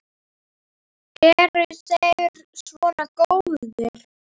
Eru þeir svona góðir?